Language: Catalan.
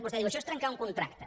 vostè diu això és trencar un contracte